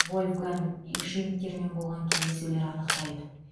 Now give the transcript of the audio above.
вольфганг ишингермен болған кездесулер анықтайды